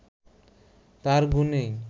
তাঁর গুণেই